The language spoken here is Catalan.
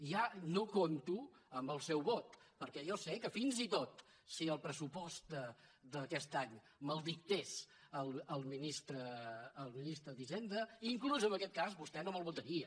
ja no compto amb el seu vot perquè jo sé que fins i tot si el pressupost d’aquest any me’l dictés el ministre d’hisenda inclús en aquest cas vostè no me’l votaria